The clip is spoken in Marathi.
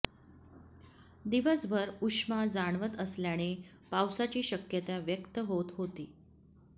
दिवसभर उष्मा जाणवत असल्याने पावसाची शक्यता व्यक्त होत होती